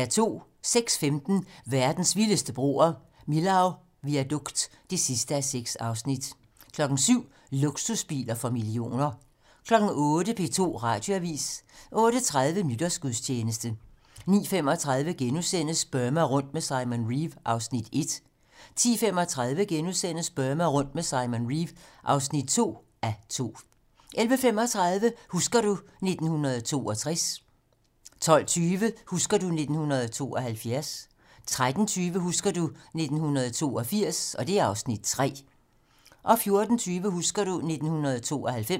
06:15: Verdens vildeste broer - Millau Viaduct (6:6) 07:00: Luksusbiler for millioner 08:00: P2 Radioavisen 08:30: Nytårsgudstjeneste 09:35: Burma rundt med Simon Reeve (1:2)* 10:35: Burma rundt med Simon Reeve (2:2)* 11:35: Husker du ... 1962 12:20: Husker du ... 1972 13:20: Husker du ... 1982 (Afs. 3) 14:20: Husker du ... 1992